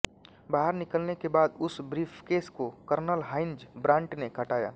बाहर निकलने के बाद उस ब्रीफकेस को कर्नल हाइन्ज़ ब्रांट ने हटाया